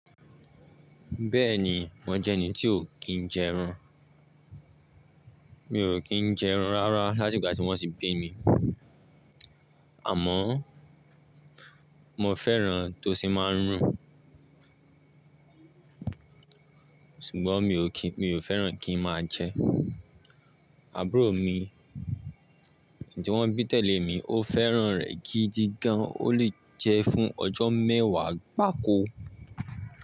Bẹ́ẹ̀ni, mo jẹ́ ẹni tí ó kì í jẹ ẹran. Mi ò kí ń jẹ ẹran rárá láti ìgbà tí wọ́n ti bí mi, àmọ́ mo fẹ́ràn tó sì máa ń rùn. Ṣùgbọ́n mi ò kí, mi ò fẹ́ràn kí n máa jẹ. Àbúrò mi tí wọ́n bí tẹ̀lé mi ó fẹ́ràn rẹ̀ gidi gan. Ó lè jẹ fún ọjọ́ mẹ́wàá gbáko.